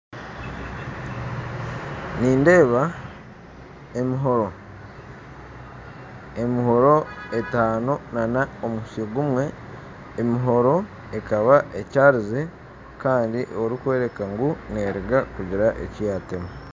Nindeeba emihoro, emihoro etano n'omutsyo gumwe, emihoro ekaba etyarize kandi erikworeka ngu neruga kugira ekiyatema.